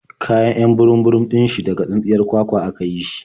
Kayan 'yan burum-burum ɗin shi daga tsintsiyar kwakwa a ka yi shi.